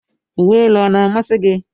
Uwe elu ọ na-amasị gị?